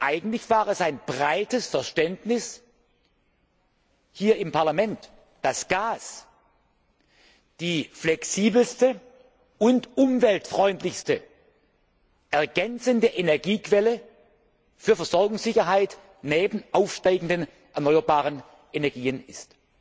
Eigentlich war es ein breites Verständnis hier im Parlament, dass Gas die flexibelste und umweltfreundlichste ergänzende Energiequelle für Versorgungssicherheit neben aufsteigenden erneuerbaren Energien ist.